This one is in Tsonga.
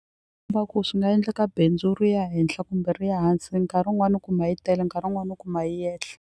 ku swi nga endleka bindzu ri ya henhla kumbe ri ya hansi nkarhi wun'wanaiu kuma yi tele nkarhi wun'wani kuma yi yehla.